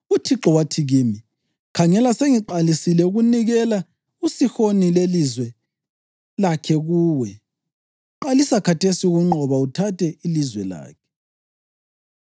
UThixo wathi kimi, ‘Khangela, sengiqalisile ukunikela uSihoni lelizwe lakhe kuwe. Qalisa khathesi ukunqoba uthathe ilizwe lakhe.’